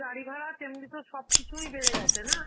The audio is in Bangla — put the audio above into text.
গাড়ি ভাড়া, তেমনি তোর সব কিছুই বেড়ে গেছে না!